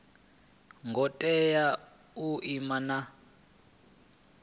ngo tea u ima na